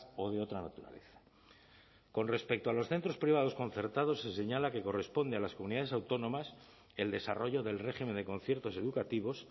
o de otra naturaleza con respecto a los centros privados concertados se señala que corresponde a las comunidades autónomas el desarrollo del régimen de conciertos educativos